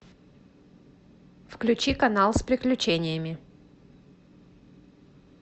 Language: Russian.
включи канал с приключениями